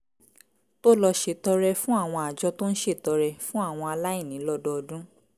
tó lọ ṣètọrẹ fún àwọn àjọ tó ń ṣètọrẹ fún àwọn aláìní lọ́dọọdún